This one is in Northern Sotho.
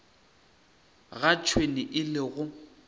ga tšhwene e le go